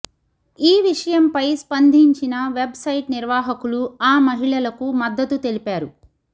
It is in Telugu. ఈ విషయంపై స్పంధించిన వెబ్ సైట్ నిర్వహకులు ఆ మహిళలకు మద్దతు తెలిపారు